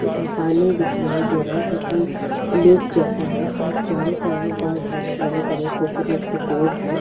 पा पानी दिखाई दे रहा है जो की लेक जैसे है और चारो तरफ बहुत सारे के बड़े बड़े कोकोनट के पेड़ है। --